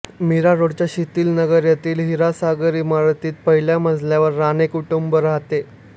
मीरारोडच्या शीतल नगर येथील हिरल सागर इमारतीत पहिल्या मजल्यावर राणे कुटुंब राहते